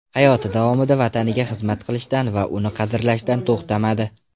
Hayoti davomida vataniga xizmat qilishdan va uni qadrlashdan to‘xtamadi.